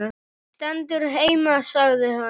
Stendur heima sagði hann.